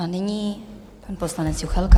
A nyní pan poslanec Juchelka.